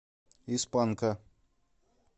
из панка